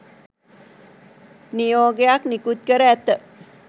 නියෝගයක් නිකුත් කර ඇත